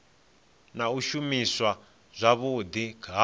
na u shumiswa zwavhudi ha